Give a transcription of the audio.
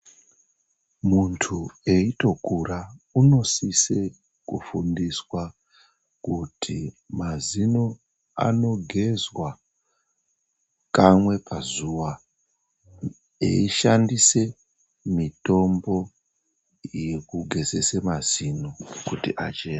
Muntu eyitokura unosise kufundiswa kuti mazino anogezwa kamwe pazuva eyishandise mitombo yekugezese mazino kuti achene.